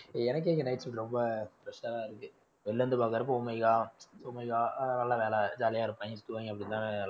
எனக்கே இங்க night shift ரொம்ப தான் இருக்கு. வெளில இருந்து பாக்குறப்போ நல்ல வேலை jolly யா இருப்பாங்க தூங்குவாங்க